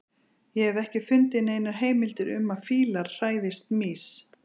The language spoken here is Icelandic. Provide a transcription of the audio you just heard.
Ég hef ekki fundið neinar heimildir um að fílar hræðist mýs.